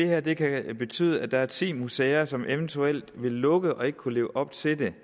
at det kan betyde at der er ti museer som eventuelt vil lukke og ikke vil kunne leve op til det